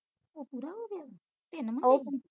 ਉਹ ਪੂਰਾ ਹੋ ਗਿਆ ਤਿੰਨ ਮੁੰਡੇ